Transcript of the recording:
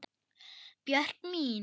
Björk mín.